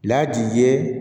Laadi ye